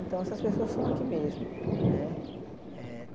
Então, essas pessoas são aqui mesmo, né? Eh